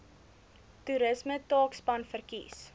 toerisme taakspan verkies